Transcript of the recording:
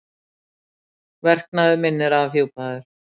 Verknaður minn er afhjúpaður.